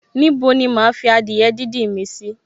Ní bo ni máa fi adìẹ díndín mi sì?